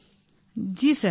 ভাবনা জি স্যার